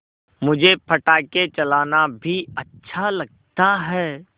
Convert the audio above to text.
मुझे पटाखे चलाना भी अच्छा लगता है